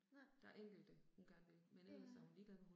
Nej. Ja